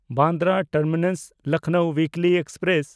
Bandra ᱴᱟᱨᱢᱤᱱᱟᱥ–ᱞᱚᱠᱷᱱᱚᱣ ᱩᱭᱤᱠᱞᱤ express